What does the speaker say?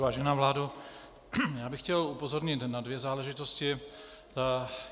Vážená vládo, já bych chtěl upozornit na dvě záležitosti.